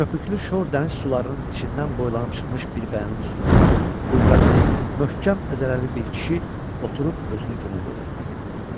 Köpüklü şor dəniz sularının içindən boylanıb çıxmış bir qayanın üstündə qüvvətli, möhkəm əzələli bir kişi oturub özünü günə verirdi.